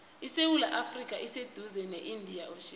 isewula afrika iseduze ne indian ocean